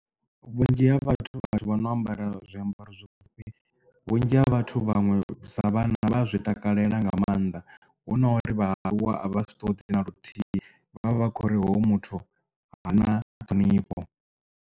Vhunzhi ha vhathu vha no ambara zwiambaro zwipfufhi vhunzhi ha vhathu vhaṅwe sa vhanna vha a zwi takalela nga maanḓa hu nori vha aluwa vha si ṱoḓe dzi na luthihi vhavha vha khou uri hoyu muthu ha na ṱhonifho.